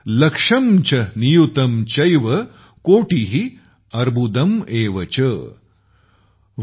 लक्षं च नियुतं चैव कोटि अर्बुदम् एव च ।।